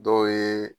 Dɔw ye